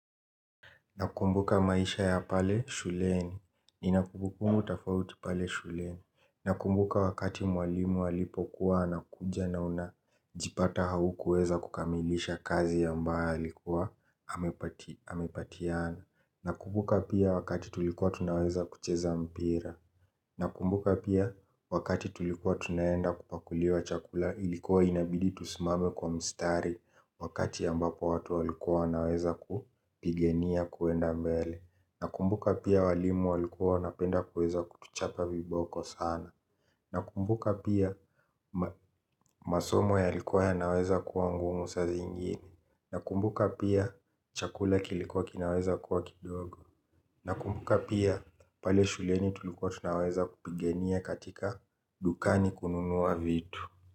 Nakumbuka maisha ya pale shuleni. Ninakumbukummu tafauti pale shuleni. Na kumbuka wakati mwalimu alipokuwa anakuja na unajipata haukuweza kukamilisha kazi ambaye alikuwa amepatiana. Nakumbuka pia wakati tulikuwa tunaweza kucheza mpira. Na kumbuka pia wakati tulikuwa tunaenda kupakuliwa chakula ilikuwa inabidi tusimame kwa mstari wakati ambapo watu walikuwa naweza kupigania kuenda mbele. Nakumbuka pia walimu walikuwa wanapenda kutuchapa viboko sana. Na kumbuka pia masomo yalikuwa yanaweza kuwa ngumu saziingine. Na kumbuka pia chakula kilikuwa kinaweza kuwa kidogo. Na kumbuka pia pale shuleni tulukuwa tunaweza kupigania katika dukani kununua vitu.